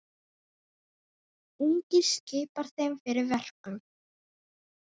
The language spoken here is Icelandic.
Enginn skipar þeim fyrir verkum.